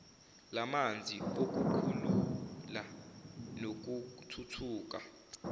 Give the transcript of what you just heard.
lamanzi okukhula nokuthuthuka